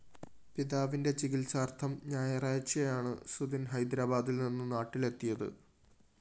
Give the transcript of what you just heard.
പിതാവിന്റെ ചികിത്സാര്‍ത്ഥം ഞായറാഴ്ചയാണ് സുധിന്‍ ഹൈദ്രാബാദില്‍ നിന്ന് നാട്ടലെത്തിയത്